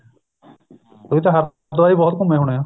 ਤੁਸੀਂ ਤਾਂ ਹਰਿਦਵਾਰ ਵੀ ਬਹੁਤ ਘੁੰਮੇ ਹੋਣੇ ਆ